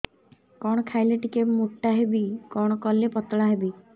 କଣ ଖାଇଲେ ଟିକେ ମୁଟା ହେବି କଣ କଲେ ପତଳା ହେବି